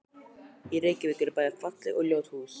Í Reykjavík eru bæði falleg og ljót hús.